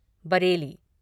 Bareilly